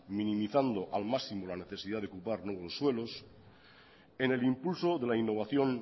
minimizando al máximo la necesidad de ocupar nuevos suelos en el impulso de la innovación